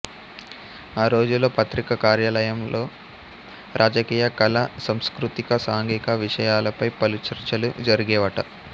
ఆ రోజుల్లో పత్రిక కార్యాలయలంలో రాజకీయ కళా సాంస్కృతిక సాంఘిక విషయాలపై పలు చర్చలు జరిగేవట